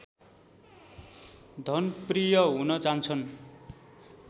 धनप्रिय हुन जान्छन्